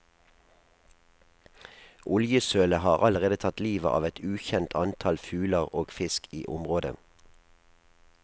Oljesølet har allerede tatt livet av et ukjent antall fugler og fisk i området.